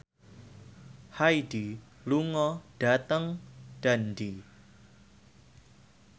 Hyde lunga dhateng Dundee